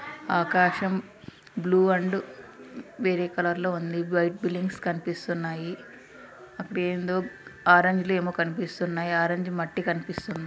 ఆకాశం blue and వేరే కలర్లో ఉంది వైట్ బిల్డింగ్స్ కనిపిస్తున్నాయి అక్కడేందో అరేంజిలో కనిపిస్తుంది ఆరంజ్ మట్టి కనిపిస్తుంది.